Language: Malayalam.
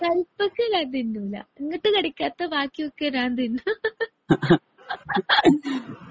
ഞാൻ തിന്നുലാ ഇങ്ങനത്തെ കടിക്കാത്ത ബാക്കിയൊക്കെ ഞാൻ തിന്നും